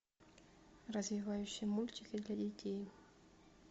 развивающие мультики для детей